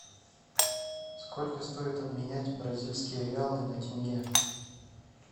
сколько стоит обменять бразильские реалы на тенге